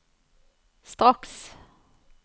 straks